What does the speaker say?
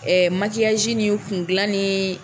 Ɛɛ nin kun dilan ni.